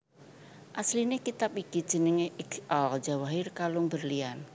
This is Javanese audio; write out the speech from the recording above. Asline kitab iki jenenge Iqd al Jawahir Kalung Berlian